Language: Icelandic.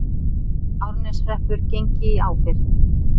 Árneshreppur gengi í ábyrgð.